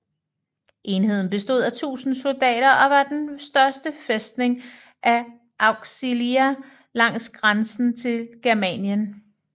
Enheden bestod af 1000 soldater og var den største fæstning af Auxilia langs grænsen til Germanien